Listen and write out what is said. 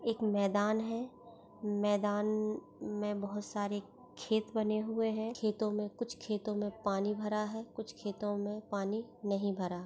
एक मैदान है मैदान मे बहुत सारे खेत बने हुए हैं खेतों मे कुछ खेतों मे पानी भरा है कुछ खेतों मे पानी नहीं भरा--